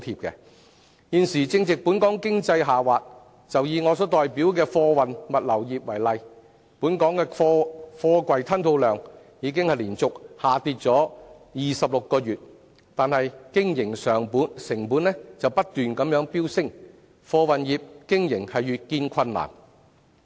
現時正值本港經濟下滑，以我代表的貨運物流業為例，本港的貨櫃吞吐量已連續26個月下跌，經營成本卻不斷飆升，貨運業的經營越見困難。